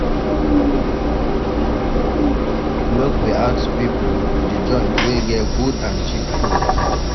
Make we ask pipo di joint wey get good and cheap food?